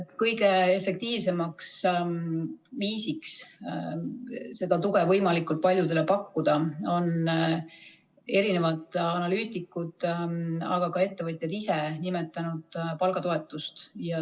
Kõige efektiivsemaks viisiks seda tuge võimalikult paljudele pakkuda on erinevad analüütikud, aga ka ettevõtjad ise nimetanud palgatoetust.